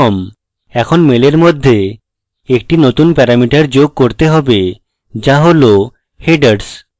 এখন মেলের মধ্যে একটি নতুন প্যারামিটার যোগ করতে হবে যা হল headers